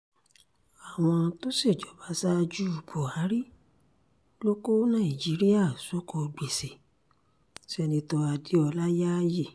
àwọn tó ṣèjọba ṣaájú buhari ló kó nàìjíríà sóko gbèsè senator adéọlá yááyì